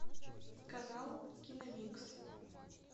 канал киномикс